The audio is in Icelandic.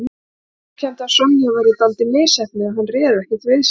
Hann viðurkenndi að Sonja væri dálítið misheppnuð en hann réð ekkert við sig